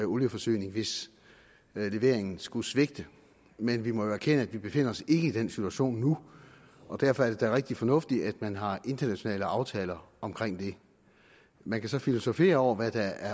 olieforsyning hvis leveringen skulle svigte men vi må jo erkende at vi ikke befinder os i den situation nu og derfor er det da rigtig fornuftigt at man har internationale aftaler omkring det man kan filosofere over hvad der